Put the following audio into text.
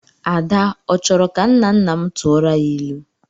Ada ọ chọrọ ka nnanna m tụọrọ ya ilu?